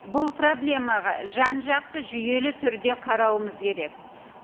бұл проблемаға жан жақты жүйелі түрде қарауымыз керек